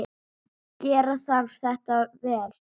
Gera þarf þetta vel.